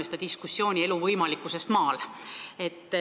Jätkame diskussiooni elu võimalikkusest maal.